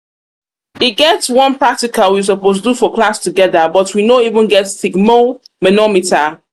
e get one practical we suppose do for class together but we no even get sphygmomanometer